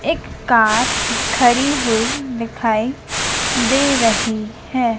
एक कार खड़ी हुई दिखाई दे रही है।